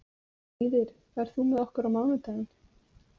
Víðir, ferð þú með okkur á mánudaginn?